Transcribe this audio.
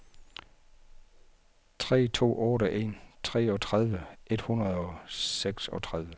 tre to otte en treogtredive et hundrede og seksogtredive